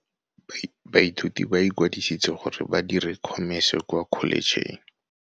Baithuti ba ikwadisitse gore ba dire Khomese kwa Kholetšheng.